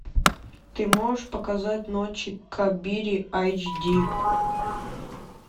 ты можешь показать ночи кабирии эйч ди